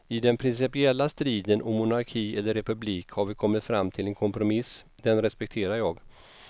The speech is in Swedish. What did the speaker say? I den principiella striden om monarki eller republik har vi kommit fram till en kompromiss, den respekterar jag.